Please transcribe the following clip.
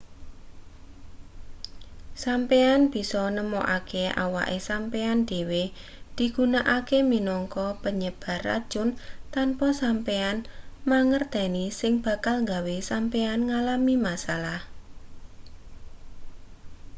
sampeyan bisa nemokake awake sampeyan dhewe digunakake minangka penyebar racun tanpa sampeyan mangerteni sing bakal gawe sampeyan ngalami masalah